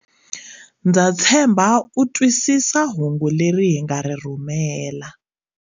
Ndza tshemba u twisisa hungu leri hi nga ri rhumela.